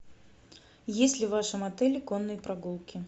есть ли в вашем отеле конные прогулки